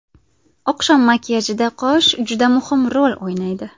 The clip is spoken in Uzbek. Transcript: Oqshom makiyajida qosh juda muhim rol o‘ynaydi.